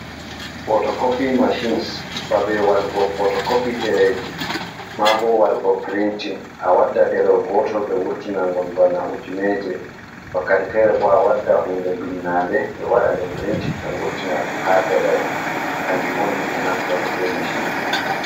Potokopi machines, babe wadugo potokopi dereji, ma bo waɗugo printing, a wadda derewol gotol be wurtina ngol bana ujineje, wakkati fere bo a wadda hunde binnande ɓe waɗa nde printing be ngurtina ɗum ha ɗerewol kanju on himɓe naftorto be machinji ɗin.